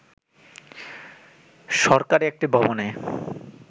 সরকারী একটি ভবনে